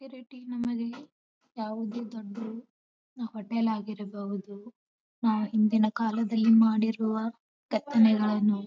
ನಮ್ಮಲ್ಲಿ ಯಾವುದೇ ದೊಡ್ಡ್ ಹೋಟೆಲ್ ಆಗಿರಬಹುದು. ನಾವು ಹಿಂದಿನ ಕಾಲದಲ್ಲಿ ಮಾಡಿರುವ ಕೆತ್ತನೆಗಳನ್ನು --